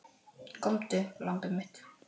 Komdu, lambið mitt.